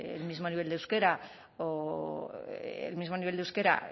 el mismo nivel de euskera